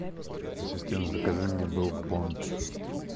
ассистент закажи мне брук бонд